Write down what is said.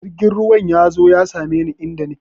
Jirgin ruwan ya zo ya same ni inda nake!